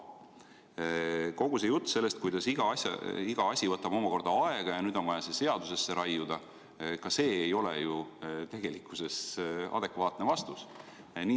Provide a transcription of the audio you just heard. Kogu see jutt, et iga asi võtab aega ja nüüd on vaja see seadusesse raiuda – ka see ei ole ju tegelikult adekvaatne vastus.